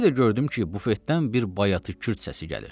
Bir də gördüm ki, bufetdən bir bayatı kürd səsi gəlir.